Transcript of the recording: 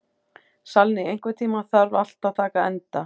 Salný, einhvern tímann þarf allt að taka enda.